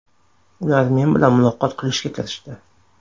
Ular men bilan muloqot qilishga kirishdi.